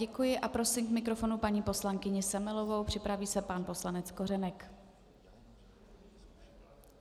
Děkuji a prosím k mikrofonu paní poslankyni Semelovou, připraví se pan poslanec Kořenek.